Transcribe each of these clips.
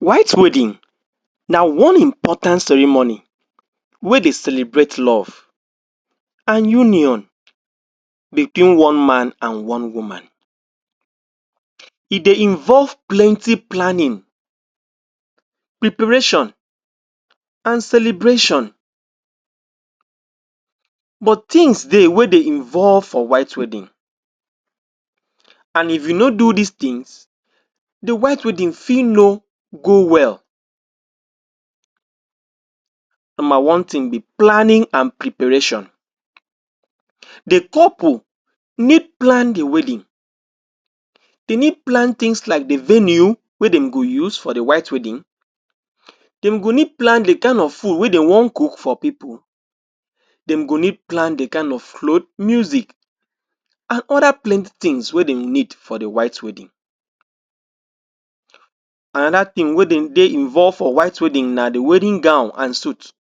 White wedding na one important ceremony wey dey celebrate love. an union between one man an one woman. E dey involve plenty planning, preparation, and celebration. But tins dey wey dey involve for White Wedding, an if you no dis tin, the White Wedding fit no go well. Nomba one tin be planning an preparation. The couple need plan the wedding. De need plan tins like the venue wey de go use for the White Wedding. Dem go need plan the kain of food wey de wan cook for pipu. Dem go need plan the kain of cloth, music, an other plenty tins wey dem need for the White Wedding Another tin wey de dey involve for White Wedding na the wedding gown an suit.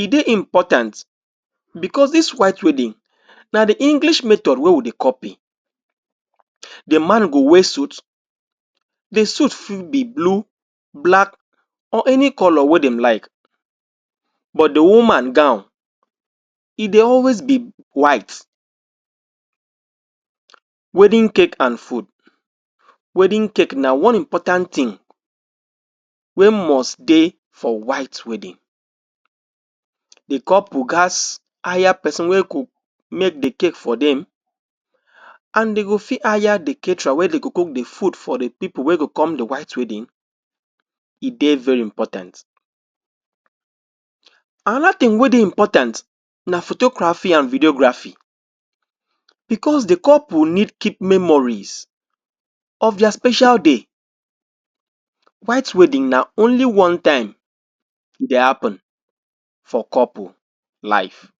E dey important becos dis White Wedding na the English method wey we dey copy. The man go wear suit. The suit fit be blue, black, or any colour wey dem like. But the woman gown, e dey always be white. Wedding cake an food. Wedding cake na one important tin wey must dey for White Wedding. The couple gaz hire peson wey go make the cake for dem an de go fit hire the caterer wey de go cook the food for the pipu wey go come the White Wedding. E dey very important. Another tin wey dey important na photography an videography becos the couple need keep memories of dia special day. White Wedding na only one time e dey happen for couple life.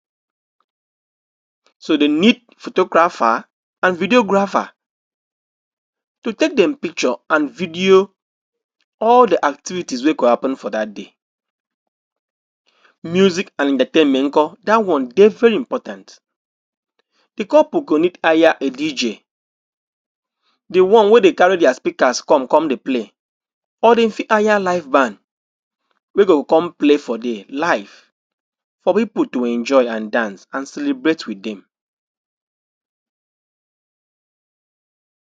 So, de need photographer, an videographer to take dem picture an video all the activities wey go happen for dat day. Music nko Dat one dey very important. The couple go need hire a DJ, the one wey dey carry dia speakers come come dey play, or dem fit hire live band wey go come play for there live for pipu to enjoy an dance, an celebrate with dem.